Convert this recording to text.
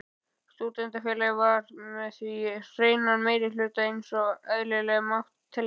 Stúdentafélagið var því með hreinan meirihluta einsog eðlilegt mátti teljast.